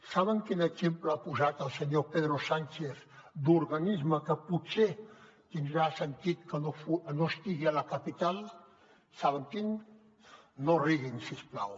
saben quin exemple ha posat el senyor pedro sánchez d’organisme que potser tindrà sentit que no estigui a la capital saben quin no riguin si us plau